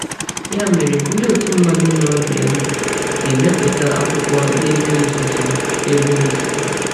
Ya mere, ndị otu mmadụ nọ Vienna ga-emepụta akwụkwọ n’ebe nzuzo. n’ebe nzuzo.